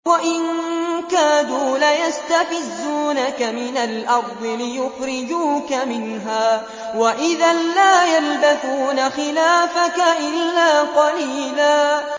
وَإِن كَادُوا لَيَسْتَفِزُّونَكَ مِنَ الْأَرْضِ لِيُخْرِجُوكَ مِنْهَا ۖ وَإِذًا لَّا يَلْبَثُونَ خِلَافَكَ إِلَّا قَلِيلًا